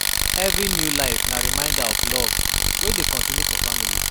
Every new life na reminder of love wey dey continue for family.